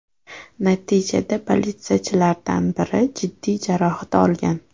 Natijada politsiyachilardan biri jiddiy jarohat olgan.